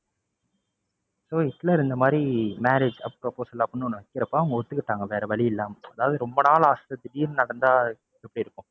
so Hitler இந்த மாதிரி marriage proposal அப்படின்னு ஒண்ணு வைக்கிறப்போ அவங்க ஒத்துக்கிட்டாங்க வேற வழி இல்லாம. அதாவது ரொம்ப நாள் ஆசை திடீருன்னு நடந்தா எப்படி இருக்கும்.